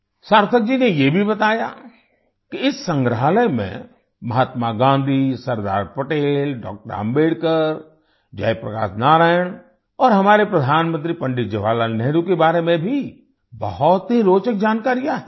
सार्थक जी ने ये भी बताया कि इस संग्रहालय में महात्मा गाँधी सरदार पटेल डॉ० अम्बेडकर जय प्रकाश नारायण और हमारे प्रधानमंत्री पंडित जवाहरलाल नेहरू के बारे में भी बहुत ही रोचक जानकारियाँ हैं